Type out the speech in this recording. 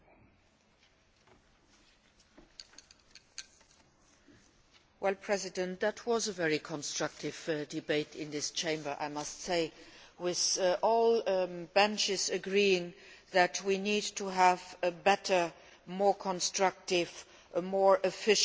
Mr President, that was a very constructive debate in this Chamber, I must say, with all benches agreeing that we need to have a better, more constructive, more efficient Consumer Rights Directive than we have today and